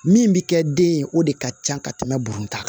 Min bɛ kɛ den ye o de ka ca ka tɛmɛ buru kan